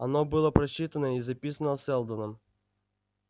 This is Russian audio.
оно было просчитано и записано сэлдоном